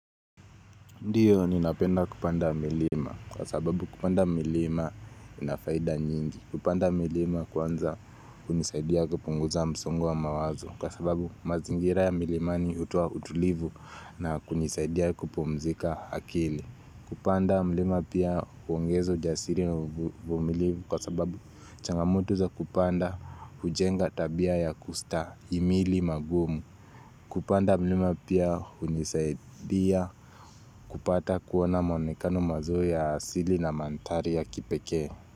Ndio ninapenda kupanda milima kwa sababu kupanda milima ina faida nyingi. Kupanda milima kwanza hunisaidia kupunguza msongo wa mawazo Kwa sababu mazingira ya milimani hutoa utulivu na kunisaidia kupumzika akili. Kupanda milima pia huongeza ujasiri na uvumilivu kwa sababu changamoto za kupanda hujenga tabia ya kustahimili magumu Kupanda milima pia hunisaidia kupata kuona maonekano mazuri ya asili na mandhari ya kipekee.